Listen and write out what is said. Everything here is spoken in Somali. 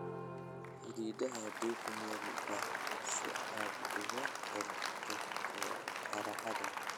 Xididdada dhig meel hadh leh si aad uga hortagto qorraxda"